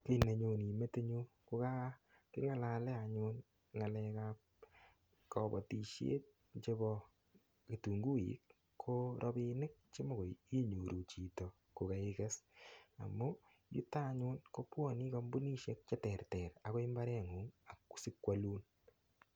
Kii nenyoni metinyu ko kaking'alale anyun ng'alekab kobotishet chebo kitunguik ko robinik chemikoi inyoru chito kokaikes amu yuto anyun kobwoni kampunishek cheterter akoi imbareng'ung' ako sikwolun